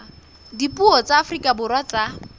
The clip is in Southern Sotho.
dipuo tsa afrika borwa tsa